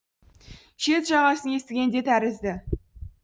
шет жағасын естіген де тәрізді